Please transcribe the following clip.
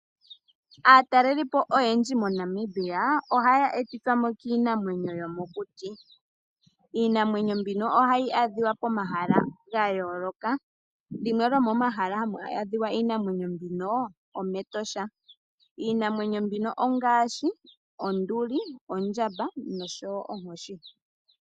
Aatalelipo oyendji moNamibia ohaya etwamo kiinamwenyo yomokuti. Iinamwenyo mbino ohayi adhika pomahala gayooloka limwe lyomomahala hamu adhika iinamwenyo mbino omEtosha. Iinamwenyo mbino ongaashi onduli, ondjamba noshowo onkoshi.